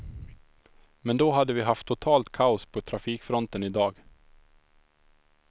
Men då hade vi haft totalt kaos på trafikfronten idag.